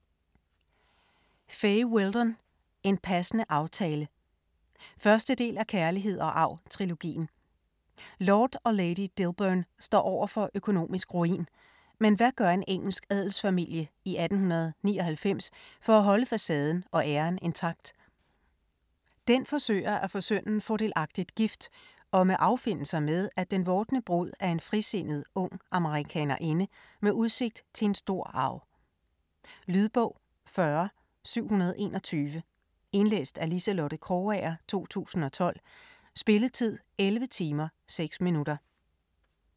Weldon, Fay: En passende aftale 1. del af Kærlighed og arv-trilogien. Lord og lady Dilberne står over for økonomisk ruin, men hvad gør en engelsk adelsfamilie i 1899 for at holde facaden og æren intakt? Den forsøger at få sønnen fordelagtigt gift og må affinde sig med, at den vordende brud er en frisindet ung amerikanerinde med udsigt til en stor arv. Lydbog 40721 Indlæst af Liselotte Krogager, 2012. Spilletid: 11 timer, 6 minutter.